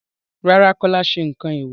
Rárá, Kọ́lá kò sẹ nǹkan èèwò.